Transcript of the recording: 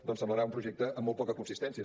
doncs semblarà un projecte amb molt poca consistència